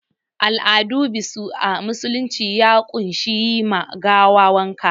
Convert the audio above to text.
Al'adun biso a musulunci ya ƙunshi yi ma gawar wanka